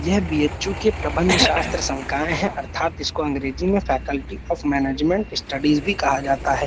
यह बी_एच्_यू के प्रबंध शास्त्र संकाय है अर्थात इसको अंग्रेजी में फैकल्टी ऑफ़ मैनेजमेंट स्टडीज भी कहा जाता है।